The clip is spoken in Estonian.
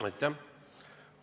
Aitäh!